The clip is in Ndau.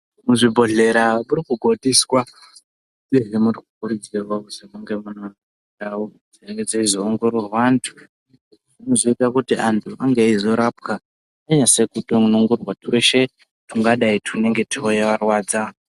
Kuzvibhedhlera kuri kugondiswa anhu mundau dzinozobatsirwa anhu eizorapwa zveshe zvingadai zveivarwadza.